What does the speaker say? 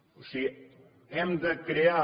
o sigui hem de crear